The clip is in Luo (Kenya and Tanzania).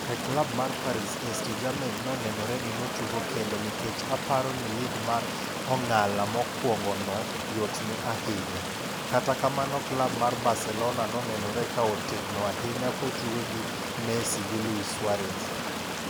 E klab mar Paris St Germain nonenore ni notugo kende ni kech aparo ni lig mar ong'ala mokwongo no yotne ahinya, kata kamano klab mar Barcelona nonenore ka otegno ahinya kotugo gi Messi giLuis Suarez.